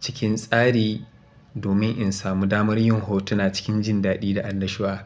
cikin tsari domin in samu damar yin hotuna cikin jindaɗi da annashuwa.